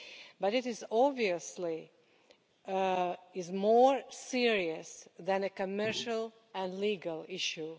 But it is obviously more serious than a commercial and legal issue.